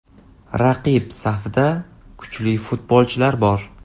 Raqib safida kuchli futbolchilar bor.